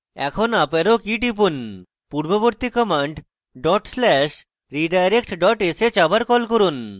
এখন up arrow key টিপুন পূর্ববর্তী command dot slash redirect dot sh আবার key করুন